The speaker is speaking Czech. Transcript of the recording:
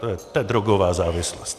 To je drogová závislost.